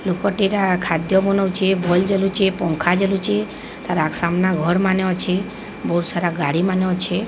ଲୋକଟି ରା ଖାଦ୍ୟ ବନଉଚେ ବଲ ଜଲୁଚେ। ପଙ୍ଖା ଜଲୁଚେ। ତାର ଆ ସାମ୍ନା ଘର ମାନେ ଅଛେ। ବୋହୁତ ସାରା ଗାଡ଼ି ମାନେ ଅଛେ।